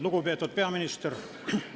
Lugupeetud peaminister!